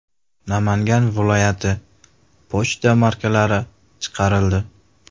Namangan viloyati” pochta markalari chiqarildi.